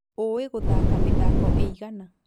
ũĩ gũthaka mĩthako ĩigana?